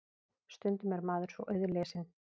Stundum er maður svo auðlesinn.